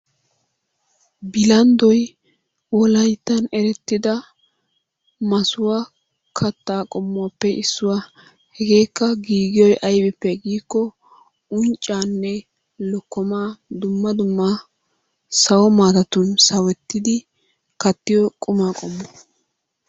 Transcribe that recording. Bilanddoy wolayttan erettida masuwa kattaa qommuwappe issuwa. Hegeekka giigiyoy aybippe giikko unccaanne lokkomaa dumma dumma sawo maatatun sawettidi kattiyo quma qommo.